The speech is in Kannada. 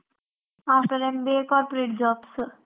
After MBA corporate jobs .